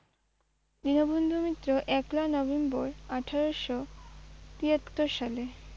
দীনবন্ধু মিত্র একলা নভেম্বর আঠেরোশো তিয়াত্তর সালে ।